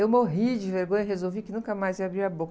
Eu morri de vergonha e resolvi que nunca mais ia abrir a boca.